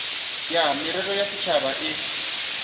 ya merero ya setšhaba e